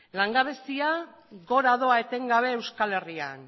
langabezia gora doa etengabe euskal herrian